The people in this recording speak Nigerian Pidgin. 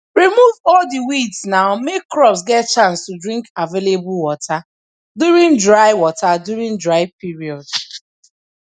remove all di weeds now make crops get chance to drink available water during dry water during dry period